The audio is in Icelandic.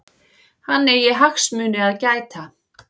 Hann eigi hagsmuni að gæta.